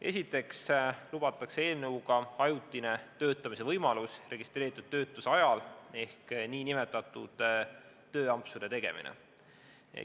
Esiteks lubatakse eelnõu kohaselt ajutine töötamise võimalus registreeritud töötuse ajal ehk nn tööampsude tegemine.